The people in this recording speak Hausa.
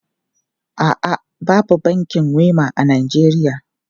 A'a, babu bankin Wema a Najeriya.